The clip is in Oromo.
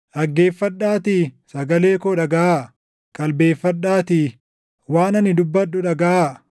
Dhaggeeffadhaatii sagalee koo dhagaʼaa; qalbeeffadhaatii waan ani dubbadhu dhagaʼaa.